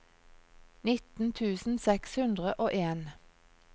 nitten tusen seks hundre og en